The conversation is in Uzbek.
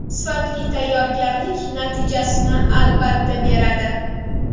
Sifatli tayyorgarlik natijasini, albatta, beradi.